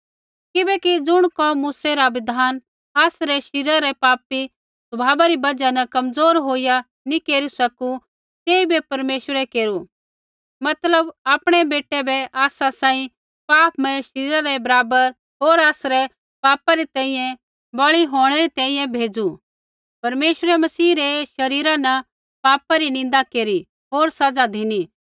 किबैकि ज़ुण कोम मूसै रा बिधान आसरै शरीरा रै पापी स्वभावा री बजहा न कमज़ोर होईया नैंई केरी सकू तेइबै परमेश्वरै केरू मतलब आपणै ही बेटै बै आसा सांही पापमय शरीरा रै बराबर होर आसरै पापा री तैंईंयैं बली होंणै री तैंईंयैं भेज़ू परमेश्वरै मसीह रै शरीरा न पापा री निन्दा केरी होर सज़ा धिनी